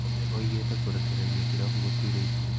Conte oigĩte kũrekereria kirabu gĩtuĩre itua